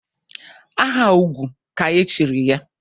Aha ugwu ka e chiri ya?